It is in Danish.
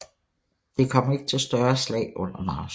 Det kom ikke til større slag under marchen